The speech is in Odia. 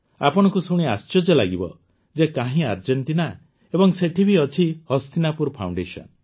ଆପଣଙ୍କୁ ଶୁଣି ଆଶ୍ଚର୍ଯ୍ୟ ଲାଗିବ ଯେ କାହିଁ ଆର୍ଜେଂଟିନା ଏବଂ ସେଇଠି ବି ଅଛି ହସ୍ତିନାପୁର ଫାଉଣ୍ଡେସନ